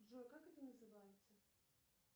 джой как это называется